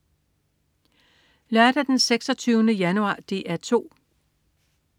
Lørdag den 26. januar - DR 2: